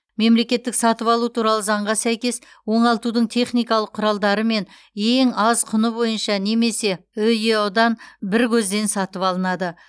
мемлекеттік сатып алу туралы заңға сәйкес оңалтудың техникалық құралдарымен ең аз құны бойынша немесе үеұ дан бір көзден сатып алынады